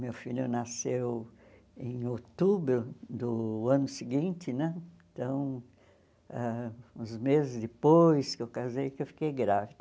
Meu filho nasceu em outubro do ano seguinte né, então, ãh uns meses depois que eu casei que eu fiquei grávida.